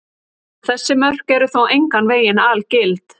Þessi mörk eru þó engan veginn algild.